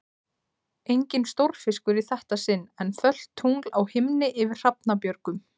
Enginn stórfiskur í þetta sinn, en fölt tungl á himni yfir Hrafnabjörgum.